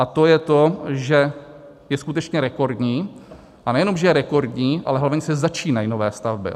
A to je to, že je skutečně rekordní, a nejenom že je rekordní, ale hlavně se začínají nové stavby.